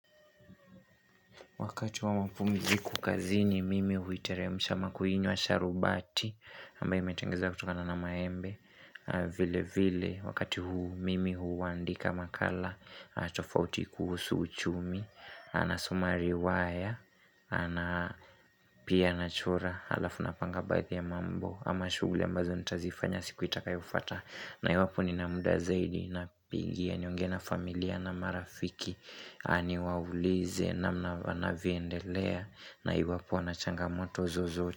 Wakati wa mapumziku kazi ni mimi huiteremsha mama kuinywa sharubati. Ambaye imetengezwa kutokana na maembe. Vile vile wakati huu mimi huandika makala. Tofauti kuhusu uchumi. Na nasoma riwaya. Na pia nachora. Alafu napanga baadhi ya mambo. Ama shuguli ambazo nitazifanya siku itakayo fuata. Na iwapo ni na muda zaidi na pingia niongee na familia na marafiki. Na niwaulize na mna wanavyoendelea na iwapo wana changamoto zozo.